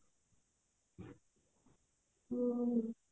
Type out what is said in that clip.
ହୁଁ